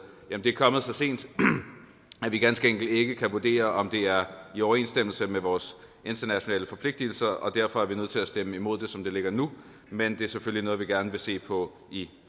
at det er kommet så sent at vi ganske enkelt ikke kan vurdere om det er i overensstemmelse med vores internationale forpligtelser og derfor er nødt til stemme imod det som det ligger nu men at det selvfølgelig er noget vi gerne vil se på i